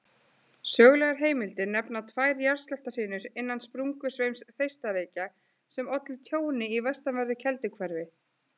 Sögulegar heimildir nefna tvær jarðskjálftahrinur innan sprungusveims Þeistareykja sem ollu tjóni í vestanverðu Kelduhverfi.